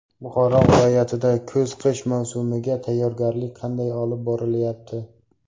Buxoro viloyatida kuz-qish mavsumiga tayyorgarlik qanday olib borilyapti?.